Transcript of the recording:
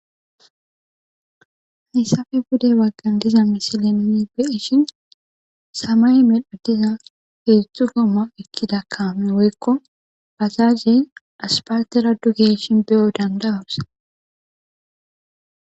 Hayssafe budey waggan diza misileneni beeshin samay medho diza heedzdzdzu gooma ekkidakkaame woykko bazaze aspatera dugeshin beyo dandawursa.